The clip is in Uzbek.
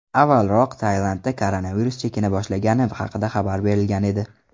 Avvalroq Tailandda koronavirus chekina boshlagani haqida xabar berilgan edi .